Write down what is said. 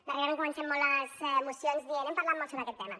darrerament comencem molt les mocions dient hem parlat molt sobre aquest tema